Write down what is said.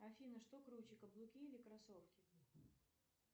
афина что круче каблуки или кроссовки